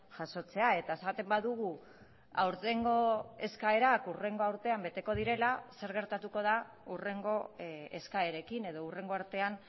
jasotzea eta esaten badugu aurtengo eskaerak hurrengo urtean beteko direla zer gertatuko da hurrengo eskaerekin edo hurrengo artean